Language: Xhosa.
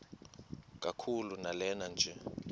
kakhulu lanela nje